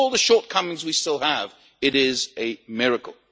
with all the shortcomings we still have, it is a miracle.